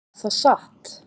Er það satt?